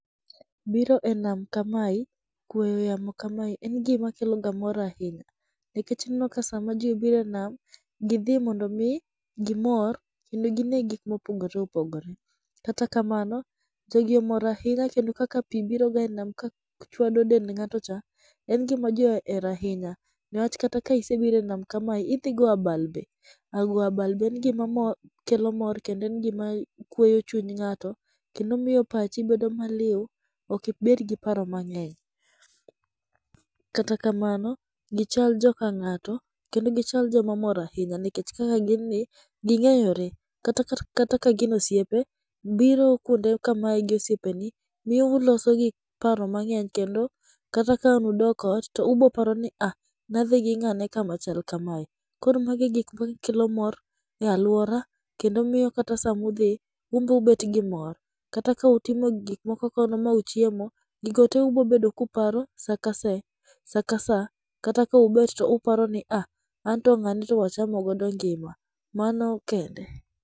Biro e nam kamae kwe yamo kamae en gima keloga mor ahinya nikech ineno ka sama ji obiro e nam, gidhi mondo mi gimor kendo gine gik mopogore opogore. Kata kamano, jogi omor ahinya kendo kaka pi biroga e nam kachwado dend ng'ato cha, en gima ji ohero ahinya. Niwach kata ka isebiro enam kamae idhi goyo abal be. Goyo abal be en gima mor kendo kweyo chuny ng'ato kendo miyo pachi bedo maliw, ok ibed gi paro mang'eny. Kata kamano gichal joka ng'ato kendo gichal joma mor ahinya nikech kaka gin ni ging'eyore. Kata ka gin osiepe, biro kuonde makamae gi osiepeni miyo uloso paro mang'eny kata ka ang' udok ot, biro paroni ni ne wadhi gi ng'ane kama. Koro magi gik makelo mor e aluora kendo miyo kata sama udhi, un be ubet gimor. Kata ka utimo gik moko kono ma uchiemo, gigo te ubiro bedo ka uparo saka ka saa saka saa kata ka ubet to uparo ni ah, anto ng'ane to wachamo godo ngima. Mano kende.